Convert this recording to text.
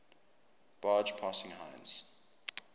barge passing heinz